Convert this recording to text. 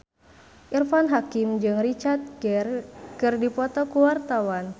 Irfan Hakim jeung Richard Gere keur dipoto ku wartawan